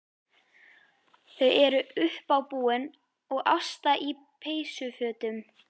Þau eru uppábúin og Ásta í peysufötum.